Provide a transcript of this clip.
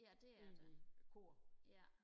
ja det er der ja